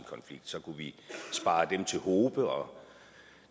så kunne vi spare dem til hobe og